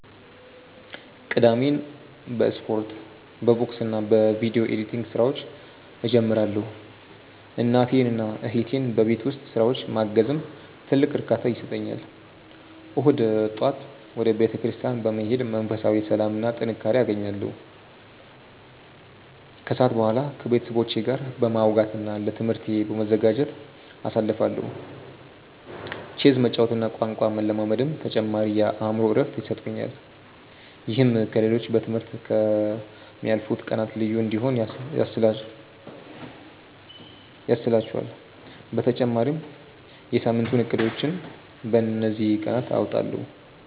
ቅዳሜን በስፖርት፣ በቦክስና በቪዲዮ ኤዲቲንግ ስራዎች እጀምራለሁ። እናቴንና እህቴን በቤት ውስጥ ስራዎች ማገዝም ትልቅ እርካታ ይሰጠኛል። እሁድ ጠዋት ወደ ቤተክርስቲያን በመሄድ መንፈሳዊ ሰላምና ጥንካሬ አገኛለሁ፤ ከሰዓት በኋላ ከቤተሰቦቼ ጋር በማውጋትና ለትምህርቴ በመዘጋጀት አሳልፋለሁ። ቼዝ መጫወትና ቋንቋ መለማመድም ተጨማሪ የአእምሮ እረፍት ይሰጡኛል። ይህም ከ ሌሎቹ በ ትምህርት ከ ምያልፉት ቀናት ልዩ እንዲሆኑ ያስችህላቹአል በተጨማሪም የ ሳምንቱን እቅዶችን በ እንዚህ ቀናት አወጣለሁ።